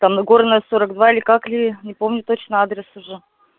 там нагорная сорок два или как ли не помню точно адрес уже